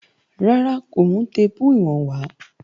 Rárá, kò mú téèpù ìwọ̀n wá